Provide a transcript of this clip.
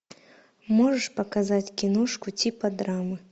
можешь показать киношку типа драмы